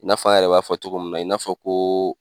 I n'a fɔ an yɛrɛ b'a fɔ cogo min na i n'a fɔ ko